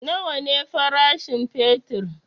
Nawa ne farashin fetur?